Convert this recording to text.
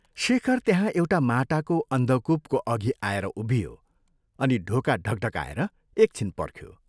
शेखर त्यहाँ एउटा माटाको अन्धकूपको अघि आएर उभियो, अनि ढोका ढक्ढकाएर एक छिन पर्ख्यो।